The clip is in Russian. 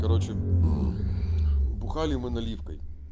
короче бухали мы наливкой